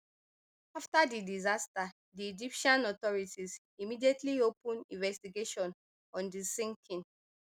afta di disaster di egyptian authorities immediately open investigation on di sinking